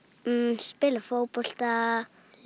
spila fótbolta